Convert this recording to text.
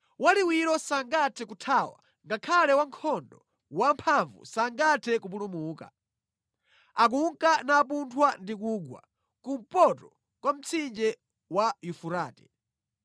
Waliwiro sangathe kuthawa ngakhale wankhondo wamphamvu sangathe kupulumuka. Akunka napunthwa ndi kugwa kumpoto kwa mtsinje wa Yufurate.